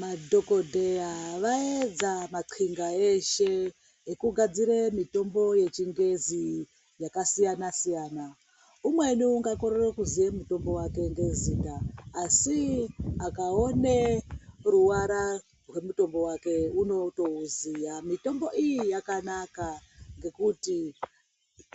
Madhokodheya vaedza maqxinga eshe ekugadzire mitombo yechingezi yakasiyana siyana. Umweni ongakorere kuziye mutombo wake ngezita asi akaone ruvara rwemutombo wake unotouziya. Mitombo iyi yakanaka ngekuti